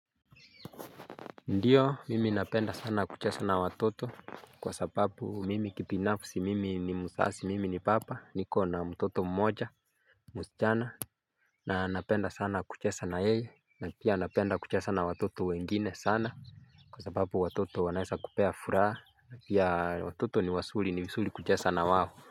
Ndiyo mimi napenda sana kuchesa na watoto kwa sababu mimi kipinafsi mimi ni musasi mimi ni papa niko na mutoto mmoja. Musichana na napenda sana kuchesa na yeye na pia napenda kuchesa na watoto wengine sana. Kwa sababu watoto wanaesa kupea furaha na pia watoto ni wasuri ni visuri kuchesa na wao.